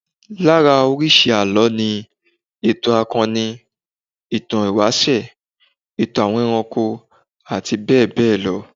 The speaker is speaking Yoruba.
Lára oríṣi àlọ́ ni, ìtàn akọ́ni, ìtàn ìwáṣẹ̀, ìtàn àwọn ẹranko àti bẹ́ẹ̀ bẹ́ẹ̀ lọ